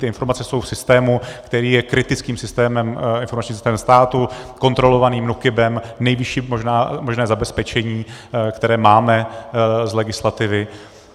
Ty informace jsou v systému, který je kritickým systémem, informačním systémem státu, kontrolovaným NÚKIB, nejvyšší možné zabezpečení, které máme z legislativy.